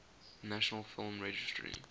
national film registry